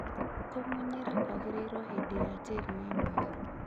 kũmunyĩra kwagĩrĩirwo hĩndĩ ĩrĩa tĩĩri wĩ mũigo